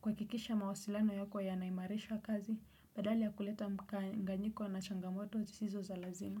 kuhakikisha mawasilano yako yanaimarisha kazi, badala ya kuleta mkanganyiko na changamoto zisizo za lazima.